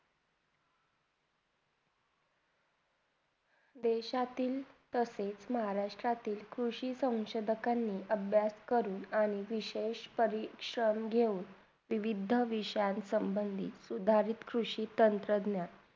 देशातील तसेच महाराष्ट्रातील कृषीचा संसोधन करने, अभ्यास करून आणि विशेषतरी क्षण घेऊन विविध विषा समभंडीत उधारीत कृषी संसाधना